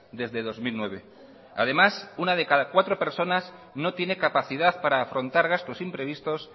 desde dos mil nueve además una de cada cuatro personas no tiene capacidad para afrontar gastos imprevistos